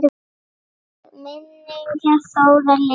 Megi minning Þórðar lifa.